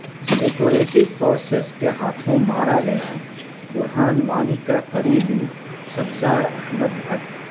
security forces کے ہاتھوں مارا گیا برہان وانی کا قریبی سبزار احمد بھٹ